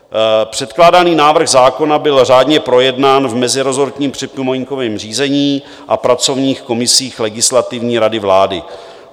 Předkládaný návrh zákona byl řádně projednán v mezirezortním připomínkovém řízení a pracovních komisích Legislativní rady vlády.